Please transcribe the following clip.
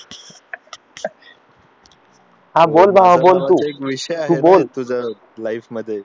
हा बोल भाव बोल तू तू बोल